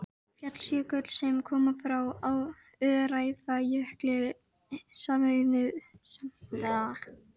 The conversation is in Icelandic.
Auk lyfjameðferðar koma vissar almennar ráðleggingar að gagni.